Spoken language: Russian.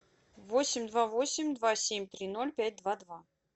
восемь два восемь два семь три ноль пять два два